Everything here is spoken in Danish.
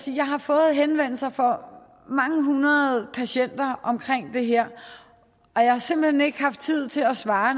jeg har fået henvendelser fra mange hundrede patienter om det her og jeg har simpelt hen ikke haft tid til at svare